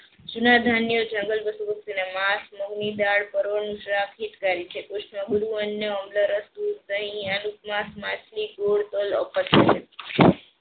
જુના ધાન્ય જંગલ પશુ પકક્ષીના માસ મગની દાળ